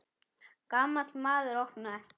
Gamall maður opnaði.